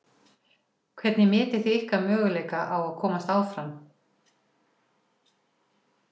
Hvernig metið þið ykkar möguleika á að komast áfram?